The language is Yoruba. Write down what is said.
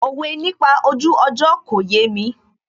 Òwe nípa ojú ọjọ́ kò yémi